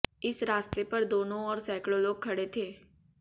इस रास्ते पर दोनों ओर सैकड़ों लोग खड़े थे